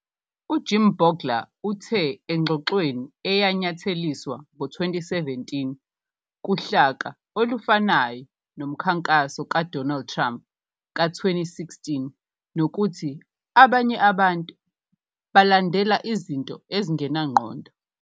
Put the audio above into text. UJim Bolger uthe engxoxweni eyanyatheliswa ngo-2017 "kuhlaka" olufanayo nomkhankaso kaDonald Trump ka-2016, nokuthi "abanye abantu balandela izinto ezingenangqondo".